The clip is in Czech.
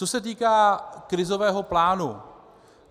Co se týká krizového plánu.